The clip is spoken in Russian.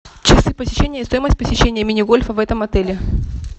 часы посещения и стоимость посещения мини гольфа в этом отеле